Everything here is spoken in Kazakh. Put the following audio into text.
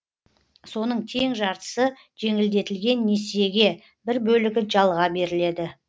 соның тең жартысы жеңілдетілген несиеге бір бөлігі жалға беріледі